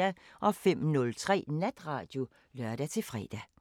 05:03: Natradio (lør-fre)